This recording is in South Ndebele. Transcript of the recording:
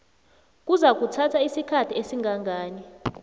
kuzakuthatha isikhathi esingangani